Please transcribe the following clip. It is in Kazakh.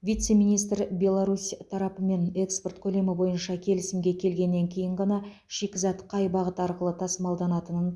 вице министр беларусь тарапымен экспорт көлемі бойынша келісімге келгеннен кейін ғана шикізат қай бағыт арқылы тасымалданатынын